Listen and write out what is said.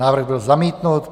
Návrh byl zamítnut.